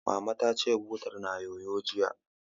Mama ta ce, butar na yoyo, jiya